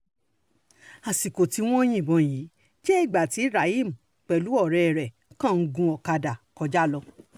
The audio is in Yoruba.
àsìkò tí wọ́n um yìnbọn yìí jẹ́ ìgbà tí rahim pẹ̀lú ọ̀rẹ́ ẹ̀ um kan ń gun ọ̀kadà kọjá lọ